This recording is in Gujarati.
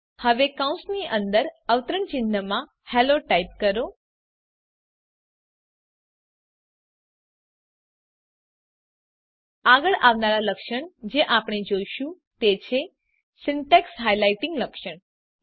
હવે કૌંસની અંદર અવતરણ ચિહ્નમાં હેલ્લો ટાઈપ કરો આગળ આવનાર લક્ષણ જે આપણે જોઈશું તે છે સિન્ટેક્સ હાઇલાઇટિંગ લક્ષણ